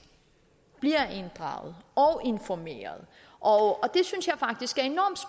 bliver inddraget og informeret og